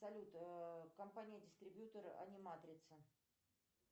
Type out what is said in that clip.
салют компания дистрибьютер аниматрица